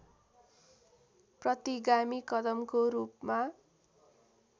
प्रतिगामी कदमको रूपमा